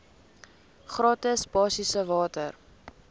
gratis basiese water